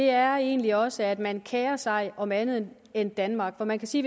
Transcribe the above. er egentlig også at man kerer sig om andet end danmark for man kan sige